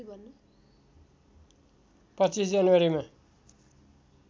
२५ जनवरी मा